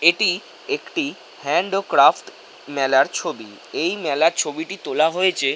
এটি একটি হ্যান্ড ও ক্র্যাফট মেলার ছবি। এই মেলার ছবিটি তোলা হয়েছে--